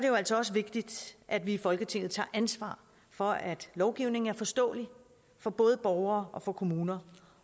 jo altså også vigtigt at vi i folketinget tager ansvar for at lovgivningen er forståelig for både borgere og kommuner